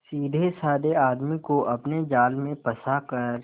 सीधेसाधे आदमी को अपने जाल में फंसा कर